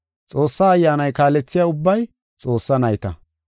Xoossaa Ayyaanay kaalethiya ubbay Xoossaa nayta.